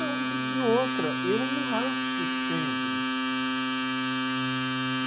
Não, e e outra, eu não raspo sempre.